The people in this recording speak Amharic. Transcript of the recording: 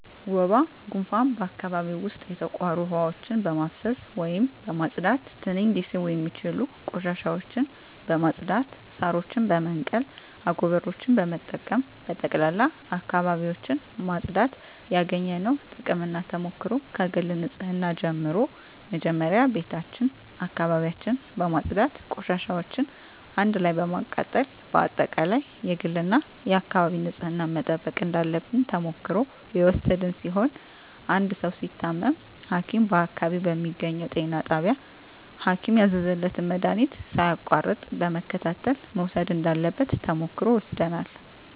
ወባ ጉንፋን በአካባቢው ዉስጥ የተቋሩ ዉሀዎችን በማፋሰስ ወይም በማፅዳት ትንኝ ሊስቡ የሚችሉ ቆሻሻዎችን በማፅዳት ሳሮችን በመንቀል አጎበሮችን በመጠቀም በጠቅላላ አካባቢዎችን ማፅዳት ያገኘነዉ ጥቅምና ተሞክሮ ከግል ንፅህና ጀምሮ መጀመሪያ ቤታችን አካባቢያችን በማፅዳት ቆሻሻዎችን አንድ ላይ በማቃጠል በአጠቃላይ የግልና የአካባቢ ንፅህናን መጠበቅ እንዳለብን ተሞክሮ የወሰድን ሲሆን አንድ ሰዉ ሲታመም ሀኪም በአካባቢው በሚገኘዉ ጤና ጣቢያ ሀኪም ያዘዘለትን መድሀኒት ሳያቋርጥ በመከታተል መዉሰድ እንዳለበት ተሞክሮ ወስደናል